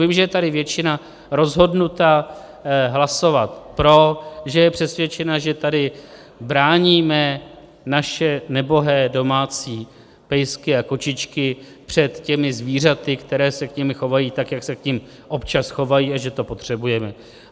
Vím, že je tady většina rozhodnutá hlasovat pro, že je přesvědčena, že tady bráníme naše nebohé domácí pejsky a kočičky před těmi zvířaty, která se k nim chovají tak, jak se k nim občas chovají, a že to potřebujeme.